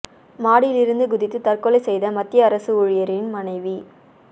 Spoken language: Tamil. மாடியில் இருந்து குதித்து தற்கொலை செய்த மத்திய அரசு ஊழியரின் மனைவி